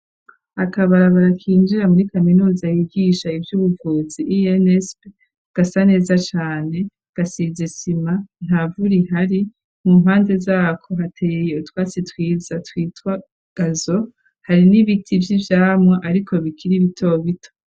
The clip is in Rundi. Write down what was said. Akabarabara kinjira muri kaminuza yigisha ivy'ubuvuzi insp gasa neza cane .Gasizisima nta vurihari mu mpande zako hateye utwasitwiza twitwa gazo hari n'ibiti vy'ivyamu ariko bikire bito bito.